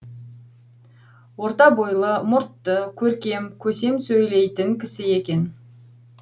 орта бойлы мұртты көркем көсем сөйлейтін кісі екен